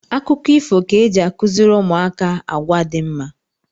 Akụkọ ifo ka eji akụziri ụmụaka agwa dị mma